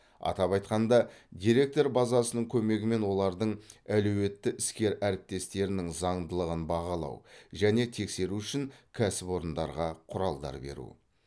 атап айтқанда деректер базасының көмегімен олардың әлеуетті іскер әріптестерінің заңдылығын бағалау және тексеру үшін кәсіпорындарға құралдар беру